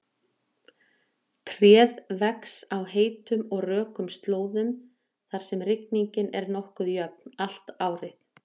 Tréð vex á heitum og rökum slóðum þar sem rigning er nokkuð jöfn allt árið.